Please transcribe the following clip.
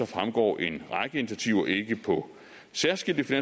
fremgår en række initiativer ikke på særskilte